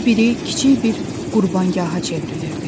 hər biri kiçik bir qurbanqaha çevrilirdi.